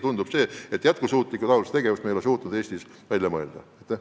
Tundub, et valdkonna jätkusuutlikku aluskava ja sellega seonduvaid tegevusi me ole suutnud Eestis välja mõelda.